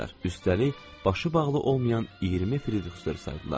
Üstəlik, başı bağlı olmayan 20 firitərsə saydılar.